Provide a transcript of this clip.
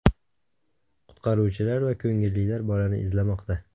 Qutqaruvchilar va ko‘ngillilar bolani izlamoqda.